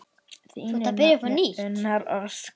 Þín nafna, Unnur Ósk.